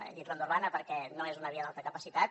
he dit ronda urbana perquè no és una via d’alta capacitat